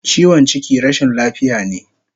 Chiwon chiki rashin lafiya ne